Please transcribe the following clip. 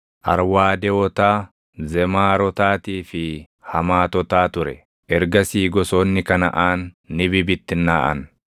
Arwaadewotaa, Zemaarotaatii fi Hamaatotaa ture. Ergasii gosoonni Kanaʼaan ni bibittinnaaʼan;